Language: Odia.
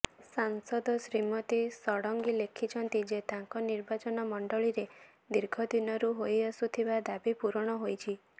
ସାଂସଦ ଶ୍ରୀମତୀ ଷଡ଼ଙ୍ଗୀ ଲେଖିଛନ୍ତି ଯେ ତାଙ୍କ ନିର୍ବାଚନ ମଣ୍ଡଳୀରେ ଦୀର୍ଘ ଦିନରୁ ହୋଇଆସୁଥିବା ଦାବି ପୂରଣ ହୋଇଛି